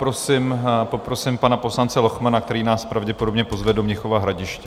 Poprosím pana poslance Lochmana, který nás pravděpodobně pozve do Mnichova Hradiště.